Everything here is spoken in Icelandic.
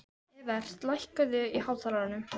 Evert, lækkaðu í hátalaranum.